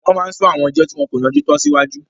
Wọ́n máa n sún àwọn ẹjọ́ tí wọn kò yanjú tán síwájú